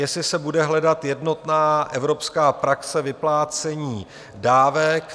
Jestli se bude hledat jednotná evropská praxe vyplácení dávek.